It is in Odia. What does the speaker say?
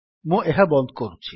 ମୁଁ ଏହା ବନ୍ଦ କରୁଛି